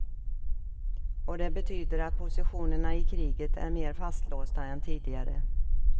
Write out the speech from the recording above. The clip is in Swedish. Och det betyder att positionerna i kriget är mer fastlåsta än tidigare.